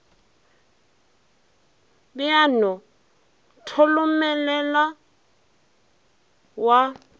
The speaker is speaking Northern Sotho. be a no tholomelela wa